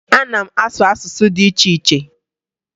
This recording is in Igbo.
Ee, ana m asụ asụsụ dị iche iche